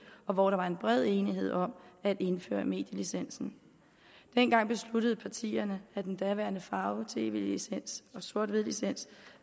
og hvor der var en bred enighed om at indføre medielicensen dengang besluttede partierne at den daværende farve tv licens og sort hvid licens